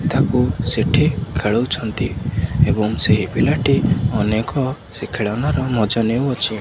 ତାକୁ ସେଇଠି ଖେଳଉଛନ୍ତି ଏବଂ ସେହି ପିଲାଟି ଅନେକ ସେହି ଖେଳନାର ମଜା ନେଉଅଛି।